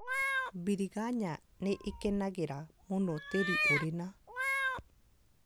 Biringanya nĩ ĩkenagĩra mũno tĩri ũrĩ na